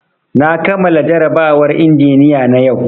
Na kamala jarabawar injiniya na yau